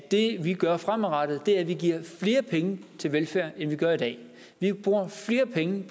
det vi gør fremadrettet er at vi giver flere penge til velfærden at vi bruger flere penge